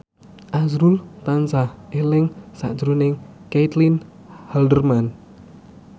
azrul tansah eling sakjroning Caitlin Halderman